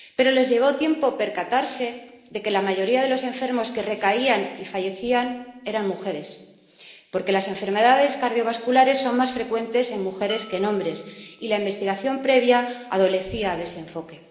Pero les llevó tiempo percatarse de que la mayoría de los enfermos que recaían y fallecían eran mujeres, porque las enfermedades cardiovasculares son más frecuentes en mujeres que en hombres y la investigación previa adolecía de ese enfoque.